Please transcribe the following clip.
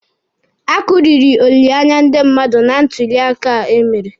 A kụriri olileanya ndị mmadụ na ntuli aka emere.